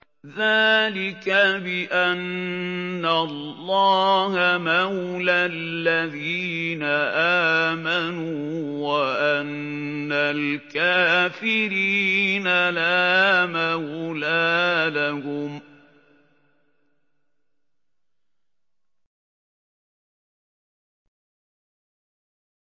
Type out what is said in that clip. ذَٰلِكَ بِأَنَّ اللَّهَ مَوْلَى الَّذِينَ آمَنُوا وَأَنَّ الْكَافِرِينَ لَا مَوْلَىٰ لَهُمْ